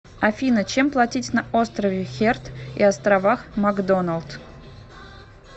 афина чем платить на острове херд и островах макдоналд